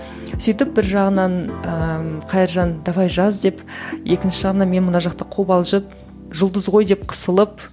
сөйтіп бір жағынан ыыы қайыржан давай жаз деп екінші жағынан мен мына жақта қобалжып жұлдыз ғой деп қысылып